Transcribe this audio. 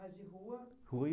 Mas de rua? Rua